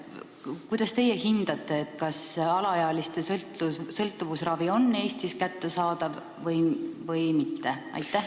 Kuidas teie hindate, kas alaealiste sõltuvusravi on Eestis kättesaadav või mitte?